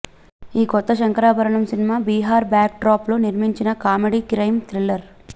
ఈ కొత్త Shankarabharanam cinema Bihar backdrop లో నిర్మించిన కామెడీ క్రైం థ్రిల్లర్